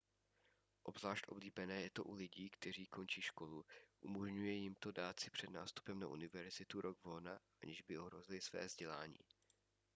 obzvlášť oblíbené je to u lidí kteří končí školu umožňuje jim to dát si před nástupem na univerzitu rok volna aniž by ohrozili své vzdělání